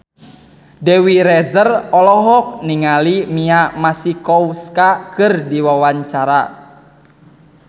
Dewi Rezer olohok ningali Mia Masikowska keur diwawancara